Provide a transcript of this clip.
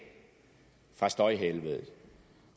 fra støjhelvedet